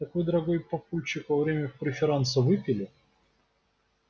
так вы дорогой папульчик во время преферанса выпили